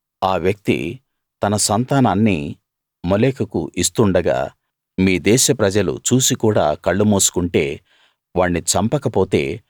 ఆ వ్యక్తి తన సంతానాన్ని మోలెకుకు ఇస్తుండగా మీ దేశ ప్రజలు చూసి కూడా కళ్ళు మూసుకుంటే వాణ్ణి చంపక పొతే